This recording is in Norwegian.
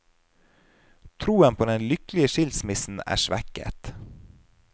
Troen på den lykkelige skilsmissen er svekket.